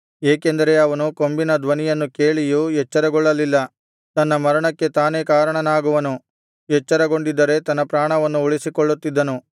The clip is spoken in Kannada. ಏಕೆಂದರೆ ಅವನು ಕೊಂಬಿನ ಧ್ವನಿಯನ್ನು ಕೇಳಿಯೂ ಎಚ್ಚರಗೊಳ್ಳಲಿಲ್ಲ ತನ್ನ ಮರಣಕ್ಕೆ ತಾನೇ ಕಾರಣನಾಗುವನು ಎಚ್ಚರಗೊಂಡಿದ್ದರೆ ತನ್ನ ಪ್ರಾಣವನ್ನು ಉಳಿಸಿಕೊಳ್ಳುತ್ತಿದ್ದನು